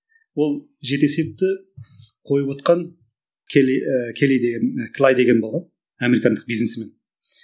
ол жеті есепті қойывотқан келли і келли деген клай деген бала американдық биснесмен